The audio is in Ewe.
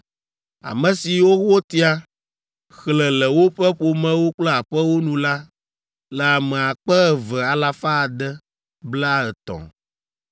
Ame siwo wotia, xlẽ le woƒe ƒomewo kple aƒewo nu la le ame akpe eve alafa ade, blaetɔ̃ (2,630).